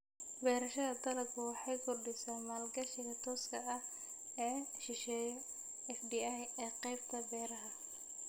Beerashada dalaggu waxay kordhisaa maalgashiga tooska ah ee shisheeye (FDI) ee qaybta beeraha.